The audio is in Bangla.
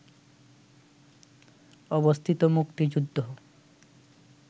অবস্থিত মুক্তিযুদ্ধ